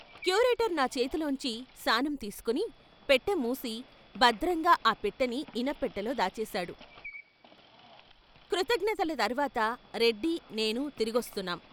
Curator నా చేతిలోంచి శానం తీసికొని పెట్టెమూసి భద్రంగా ఆ పెట్టెని ఇనప్పెట్టెలో దాచేశాడు, కృతజ్ఞతల తర్వాత రెడ్డి, నేనూ తిరిగొస్తున్నాం.